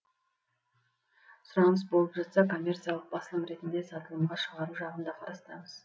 сұраныс болып жаста коммерциялық басылым ретінде сатылымға шығару жағын да қарастырармыз